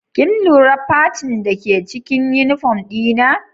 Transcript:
Kin lura facin dake cikin uniform dina?